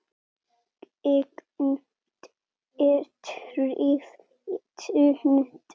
Gegn betri vitund.